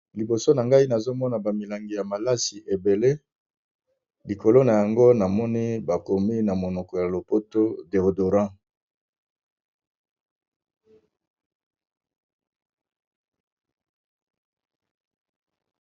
Liboso na ngai nazo mona ba milangi ya malasi ebele, likolo na yango namoni bakomi na monoko ya lopoto deodorant.